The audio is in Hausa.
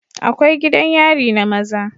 Akwai gidan yari na maza